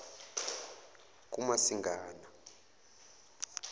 kumasingana